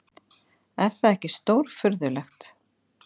Er það ekki stórfurðulegt!